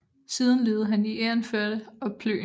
Siden levede han i Egernførde og Plön